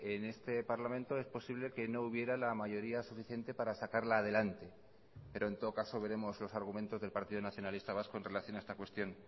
en este parlamento es posible que no hubiera la mayoría suficiente para sacarla adelante pero en todo caso veremos los argumentos del partido nacionalista vasco en relación a esta cuestión